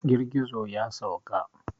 Girgizo ya sauka.